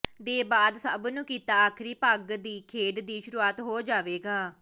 ਦੇ ਬਾਅਦ ਸਭ ਨੂੰ ਕੀਤਾ ਆਖਰੀ ਪਗ ਦੀ ਖੇਡ ਦੀ ਸ਼ੁਰੂਆਤ ਹੋ ਜਾਵੇਗਾ